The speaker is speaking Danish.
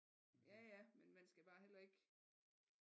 Ja ja men man skal bare heller ikke